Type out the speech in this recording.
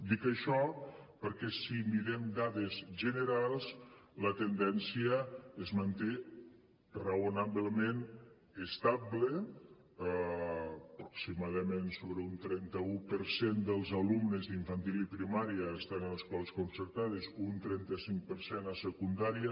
dic això perquè si mirem dades generals la tendència es manté raonablement estable aproximadament sobre un trenta un per cent dels alumnes d’infantil i primària estan en escoles concertades un trenta cinc per cent a secundària